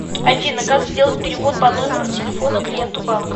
афина как сделать перевод по номеру телефона клиенту банка